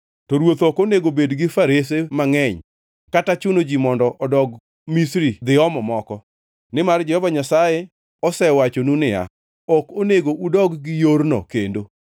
To ruoth ok onego obed gi farese mangʼeny kata chuno ji mondo odog Misri dhi omo moko, nimar Jehova Nyasaye osewachonu niya, “Ok onego udog gi yorno kendo.”